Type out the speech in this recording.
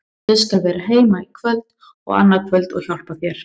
Ég skal vera heima í kvöld og annað kvöld og hjálpa þér.